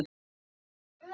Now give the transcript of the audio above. Hvert vil ég fara?